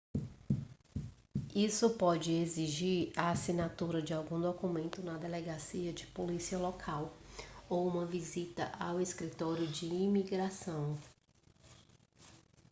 isso pode exigir a assinatura de algum documento na delegacia de polícia local ou uma visita ao escritório de imigração